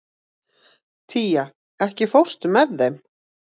Tía, ekki fórstu með þeim?